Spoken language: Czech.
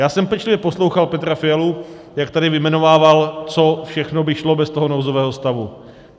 Já jsem pečlivě poslouchal Petra Fialu, jak tady vyjmenovával, co všechno by šlo bez toho nouzového stavu.